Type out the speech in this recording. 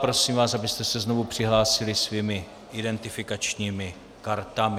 Prosím vás, abyste se znovu přihlásili svými identifikačními kartami.